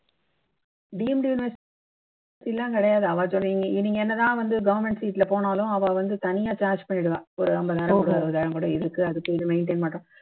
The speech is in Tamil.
deemed university எல்லாம் கிடையாது அவா சொல் நீங்க நீங்க என்ன தான் government seat ல போனாலும் அவா வந்து தனியா charge பண்ணிடுவா ஒரு அம்பதாயிரம் கொடு அறுவதாயிரம் அதுக்கு இதுக்கு maintain பண்றோம்